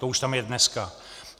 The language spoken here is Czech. To už tam je dneska.